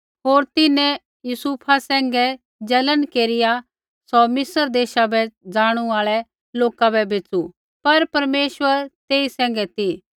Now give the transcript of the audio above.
होर तिन्हैं यूसुफा सैंघै जलन केरिआ सौ मिस्र देशा बै ज़ाणू आल़ै लोका बै बैच़ू पर परमेश्वर तेई सैंघै ती